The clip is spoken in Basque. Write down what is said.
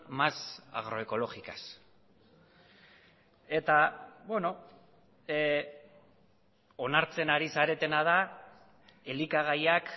más agroecológicas eta onartzen ari zaretena da elikagaiak